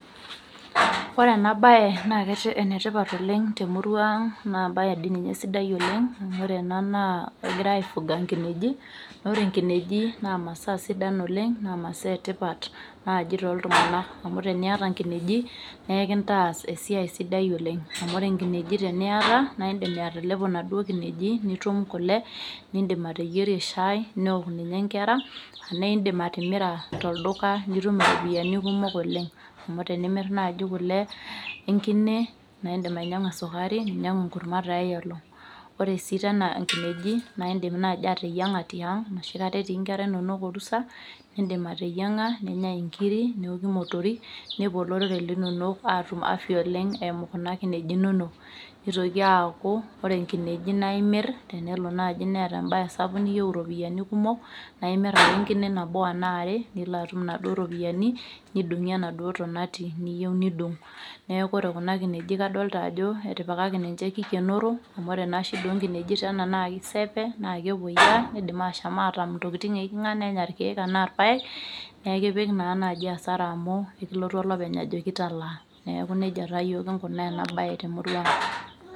Ore ena baye naa enetipat oleng' temurua ang' naa embaye dii naa egirai aifuga inkineji naa ore inkineji naa imasaa sidan oleng' namaasa etipta naaji toltung'anak amu ekintaas esia sidai oleng' amu ore inkineji teniata naa indiim atalepo inkineji nitum kule nindiim ateyierie shai neewok ninye inkera neeidim. atimira tolduka nitum iropiyiani kumok oleng' amu tenimir naaji kule enkine naa indiim ainyiang'u esukari ninyiang'u enkurma tialong' ore sii tena inkineji naa indiim naaji ateyiang'a tiang' enoshi kata etii inkera inonok urusa neok imotorik peetum afya oleng' eimu inkineji inonok nitoki aaku ore inkineji naa imir tenelo naaji neeta embaye sapuk niyieu iropiyiani kumok naa imir ake enkine nabo ashua are nilo atum inaduo ropiyiani nidung'ie enaduo tonati niyieu nidung' neeku ore inkineji kadolita ajo etipikaki ninche keikenoro amu ore shida oonkineji naa keisipe eidim aashom aatam intokitin ooking'a nembaiki naa kemoyiaa nenya irkiek enaa irpaek neekipik naa naaji hasara aku ekilotu olopeny ajoki talaa neeku nejia taa yiok kinkunaa ena baye temurua ang'.